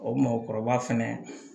O mɔgɔkɔrɔba fɛnɛ